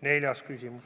Neljas küsimus: